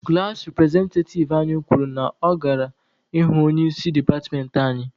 Klaasị repụrezentativ anyị kwuru na ọ gara ịhụ onye isi departmentị anyị.